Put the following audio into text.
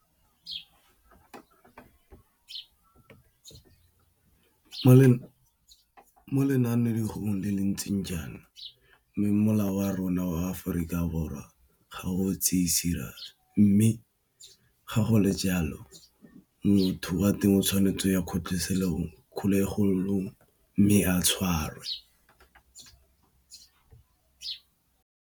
Mo lenanegong le le ntseng jaana mme molao wa rona wa Aforika Borwa ga o tseye serious mme ga go le jalo motho wa teng o tshwanetse ya kgotlhesekelong, mme a tshwarwe.